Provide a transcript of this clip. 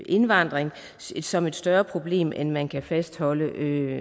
indvandring som et større problem end at man kan fastholde